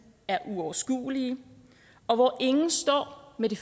er uoverskuelige og hvor ingen står med det